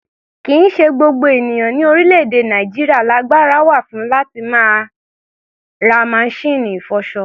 Kì í ṣe gbogbo ènìyàn ní orílẹ̀-èdè Nàìjíríà lagbára wà fún láti ra masíìnì ìfọṣọ.